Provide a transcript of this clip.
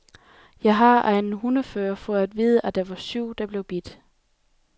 Jeg har af en hundefører fået at vide, at der var syv, der blev bidt.